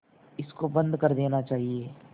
इसको बंद कर देना चाहिए